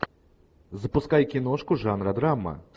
запускай киношку жанра драма